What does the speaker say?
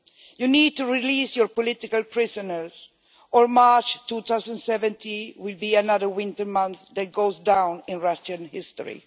You need to release your political prisoners, or March 2017 will be another winter month which goes down in Russian history.